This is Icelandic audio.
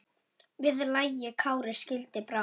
Við lagi Kári skildi brá.